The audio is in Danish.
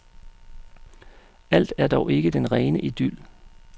Alt er dog ikke den rene idyl.